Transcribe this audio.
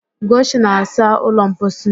Ugochi na-asa ụlọ mposi.